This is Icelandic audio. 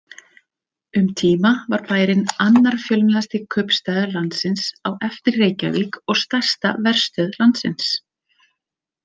Um tíma var bærinn annar fjölmennasti kaupstaður landsins á eftir Reykjavík og stærsta verstöð landsins.